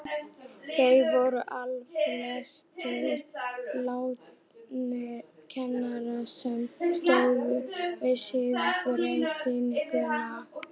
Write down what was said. Þeir voru allflestir látnir, mennirnir sem stóðu að siðbreytingunni.